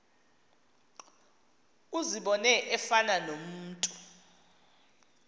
uzibone efana nomntu